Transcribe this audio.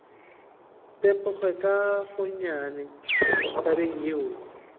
tepoge ka gonnyane tabeng yeo